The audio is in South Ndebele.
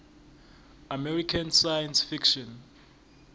american science fiction